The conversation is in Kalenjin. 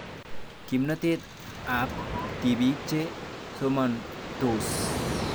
Kimnatet ab tipik che somansots